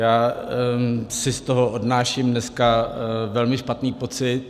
Já si z toho odnáším dneska velmi špatný pocit.